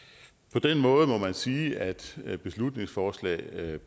på den måde må man sige at at beslutningsforslag